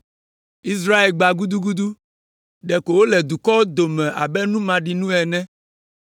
Israel gbã gudugudu, ɖeko wòle dukɔwo dome abe nu maɖinu ene,